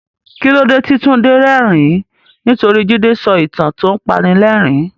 Kí ló dé tí Tunde rẹ́rìn-ín? Nítorí Jide sọ ìtàn tó ń panilẹ́rìn-ín.